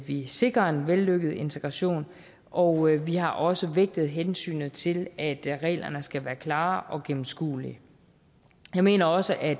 vi sikrer en vellykket integration og vi har også vægtet hensynet til at reglerne skal være klare og gennemskuelige jeg mener også at